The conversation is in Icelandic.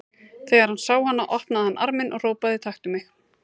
Þegar hann sá hana opnaði hann arminn og hrópaði: Taktu mig!